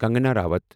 Kangana Ranaut